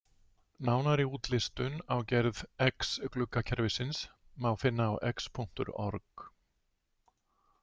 Nánari útlistun á gerð X-gluggakerfisins má finna á X.org.